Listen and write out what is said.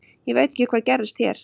Ég veit ekki hvað gerðist hér.